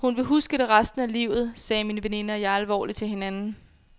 Hun vil huske det resten af livet, sagde min veninde og jeg alvorligt til hinanden.